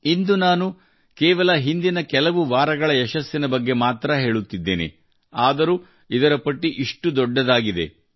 ಇಂದು ನಾನು ಕೇವಲ ಹಿಂದಿನ ಕೆಲವು ವಾರಗಳ ಯಶಸ್ಸಿನ ಬಗ್ಗೆ ಮಾತ್ರಾ ಹೇಳುತ್ತಿದ್ದೇನೆ ಆದರೂ ಇದರ ಪಟ್ಟಿ ಇಷ್ಟು ದೊಡ್ಡದಾಗಿದೆ